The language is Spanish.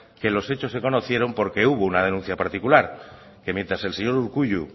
que los hechos se conocieron porque hubo una denuncia particular que mientras el señor urkullu